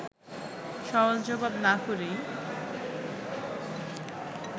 সওয়াল-জবাব না করেই